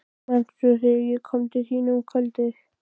Manstu, þegar ég kom til þín um kvöldið.